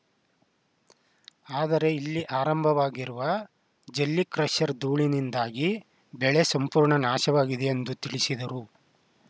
ಆದರೆ ಇಲ್ಲಿ ಆರಂಭವಾಗಿರುವ ಜಲ್ಲಿ ಕ್ರಷರ್‌ ಧೂಳಿನಿಂದಾಗಿ ಬೆಳೆ ಸಂಪೂರ್ಣ ನಾಶವಾಗಿದೆ ಎಂದು ತಿಳಿಸಿದರು